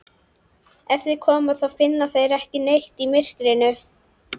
Ef þeir koma þá finna þeir ekki neitt í myrkrinu.